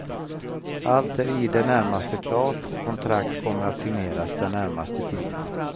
Allt är i det närmaste klart och kontrakt kommer att signeras den närmaste tiden.